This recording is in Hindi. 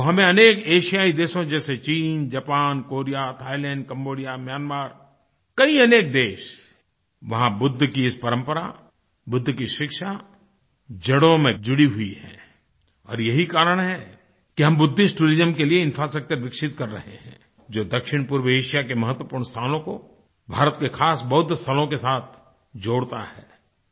वह हमें अनेक एशियाई देशों जैसे चीन Japan Korea Thailand Cambodia Myanmar कई अनेक देश वहाँ बुद्ध की इस परंपरा बुद्ध की शिक्षा जड़ों में जुड़ी हुई हैं और यही कारण है कि हम बुद्धिस्ट टूरिज्म के लिए इंफ्रास्ट्रक्चर विकसित कर रहे हैं जो दक्षिणपूर्वी एशिया के महत्वपूर्ण स्थानों को भारत के खास बौद्ध स्थलों के साथ जोड़ता है